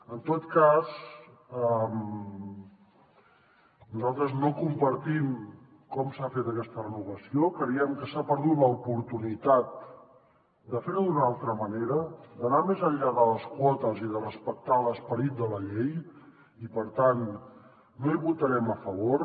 en tot cas nosaltres no compartim com s’ha fet aquesta renovació creiem que s’ha perdut l’oportunitat de fer ho d’una altra manera d’anar més enllà de les quotes i de respectar l’esperit de la llei i per tant no hi votarem a favor